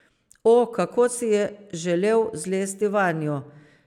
O, kako si je želel zlesti vanjo!